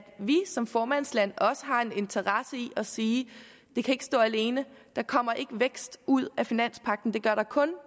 vi som formandsland også har en interesse i at sige det kan ikke stå alene der kommer ikke vækst ud af finanspagten det gør der kun